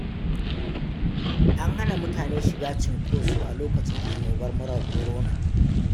An hana mutane shiga cunkoso a lokacin annobar murar korona.